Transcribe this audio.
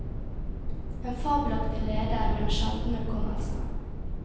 En fabelaktig leder med en sjelden hukommelse.